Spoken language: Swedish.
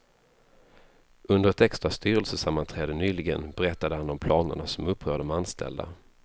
Under ett extra styrelsesammanträde nyligen berättade han om planerna som upprör de anställda.